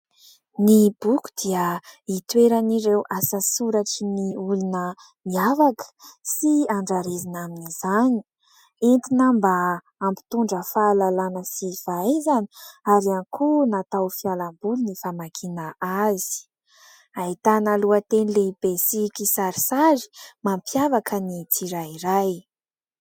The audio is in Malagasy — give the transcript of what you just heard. Ny boky dia itoeran'ireo asa soratran'ny olona miavaka sy andrarezina amin'izany, entina mba hampitondra fahalalana sy fahaizana ary ihany koa natao ho fialamboly ny famakiana azy. Ahitana lohateny lehibe sy kisarisary mampiavaka ny tsirairay.